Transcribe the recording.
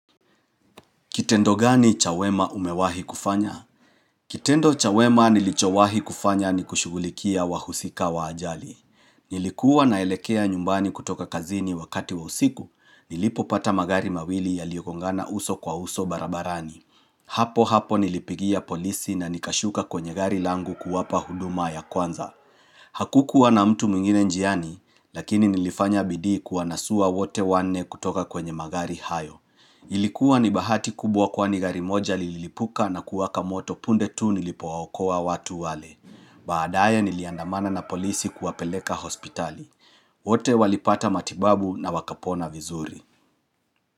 Kitendo gani cha wema umewahi kufanya? Kitendo cha wema nilichowahi kufanya ni kushugulikia wahusika wa ajali. Nilikuwa naelekea nyumbani kutoka kazini wakati wa usiku, nilipopata magari mawili yaliyogongana uso kwa uso barabarani. Hapo hapo nilipigia polisi na nikashuka kwenye gari langu kuwapa huduma ya kwanza. Hakukuwa na mtu mwingine njiani, lakini nilifanya bidii kuwanasua wote wanne kutoka kwenye magari hayo. Ilikuwa ni bahati kubwa kwani gari moja lililipuka na kuwaka moto punde tu nilipowaokoa watu wale baadaye niliandamana na polisi kuwapeleka hospitali wote walipata matibabu na wakapona vizuri.